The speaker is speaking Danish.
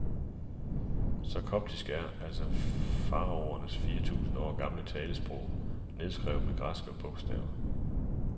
Så koptisk er altså faraonernes fire tusinde år gamle talesprog nedskrevet med græske bogstaver.